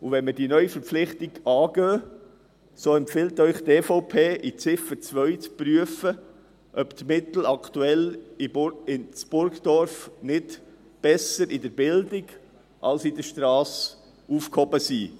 Wenn wir diese Neuverpflichtung angehen, empfiehlt Ihnen die EVP in Ziffer 2, zu prüfen, ob die Mittel aktuell in Burgdorf besser in der Bildung als in der Strasse aufgehoben sind.